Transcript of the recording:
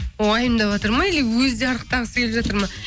уайымдаватыр ма или өзі де арықтағысы келіп жатыр ма